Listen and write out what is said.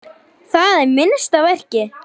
En það er minnsta verkið.